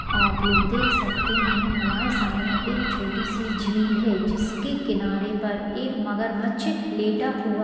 आप लोग देख सकते हैं हमारे सामने एक छोटी सी झील है जिसके किनारे पर एक मगरमच्छ लेटा हुआ --